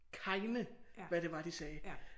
Keine hvad det var de sagde